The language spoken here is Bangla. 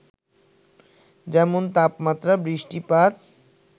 যেমন, তাপমাত্রা, বৃষ্টিপাত,